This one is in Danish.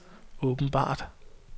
åbenbart